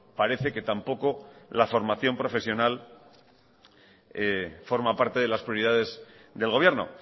parece que tampoco la formación profesional forma parte de las prioridades del gobierno